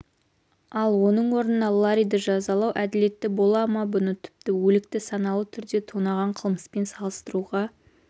ал ның орнына ларриді жазалау әділетті бола ма бұны тіпті өлікті саналы түрде тонаған қылмыспен салыстыруға